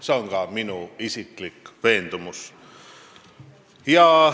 See on ka minu isiklik veendumus.